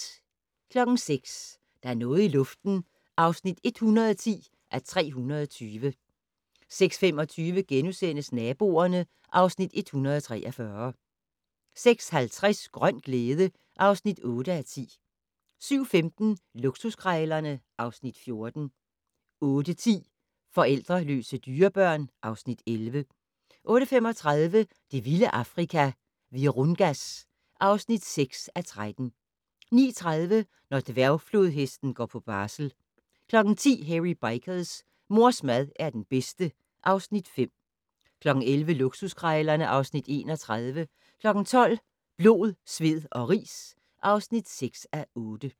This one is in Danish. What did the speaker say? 06:00: Der er noget i luften (110:320) 06:25: Naboerne (Afs. 143)* 06:50: Grøn glæde (8:10) 07:15: Luksuskrejlerne (Afs. 14) 08:10: Forældreløse dyrebørn (Afs. 11) 08:35: Det vilde Afrika - Virungas (6:13) 09:30: Når dværgflodhesten går på barsel 10:00: Hairy Bikers: Mors mad er den bedste (Afs. 5) 11:00: Luksuskrejlerne (Afs. 31) 12:00: Blod, sved og ris (6:8)